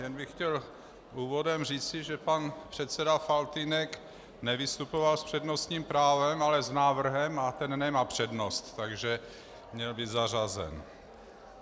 Jen bych chtěl úvodem říci, že pan předseda Faltýnek nevystupoval s přednostním právem, ale s návrhem, a ten nemá přednost, takže měl být zařazen.